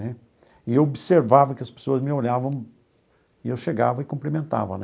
Né e eu observava que as pessoas me olhavam e eu chegava e cumprimentava.